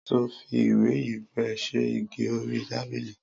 Sọ fí ìwé ìyẹpẹ sẹ ìgí òrí tàbílì?